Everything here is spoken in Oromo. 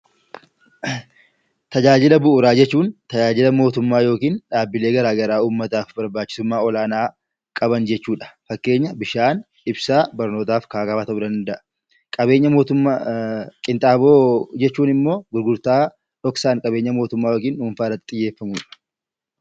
Tajaajila bu'uuraa jechuun, tajaajila mootummaa yookaan tajaajila dhaabbilee garaagaraa uummataaf barbaachisummaa olaanaa qaban jechuudha. Fakkeenyaaf bishaan ibsaa fi barnootaa fi kan kana fakkaatan. Qinxaaboo jechuun immoo gurgurtaa dhoksaan qabeenya mootummaa yookaan dhuunfaa irratti xiyyeeffatamudha.